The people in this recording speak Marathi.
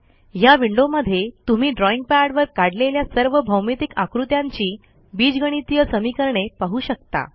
ह्या विंडोमध्ये तुम्ही ड्रॉईंग पॅडवर काढलेल्या सर्व भौमितिक आकृत्यांची बीजगणितीय समीकरणे पाहू शकता